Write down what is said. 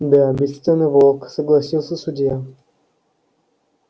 да бесценный волк согласился судья